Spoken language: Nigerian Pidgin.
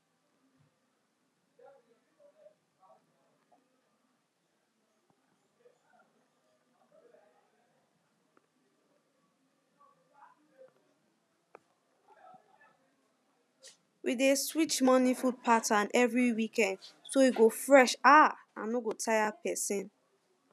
we dey switch morning food pattern every weekend so e go fresh um and no go tire person